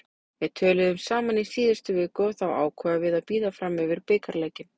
Við töluðum saman í síðustu viku og þá ákváðum við að bíða fram yfir bikarleikinn.